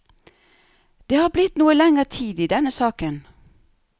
Det har blitt noe lenger tid i denne saken.